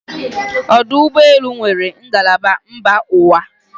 ọdụ ụgbọ elu nwere ngalaba mba ụwa